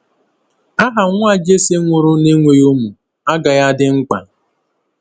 Aha nwa Jesse nwụrụ n’enweghị ụmụ agaghị adị mkpa.